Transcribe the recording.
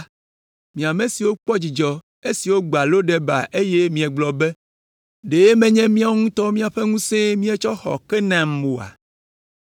Mi ame siwo kpɔ dzidzɔ esi wogbã Lodeba eye miegblɔ be, “Ɖe menye míawo ŋutɔ ƒe ŋusẽe míetsɔ xɔ Karnaim oa?”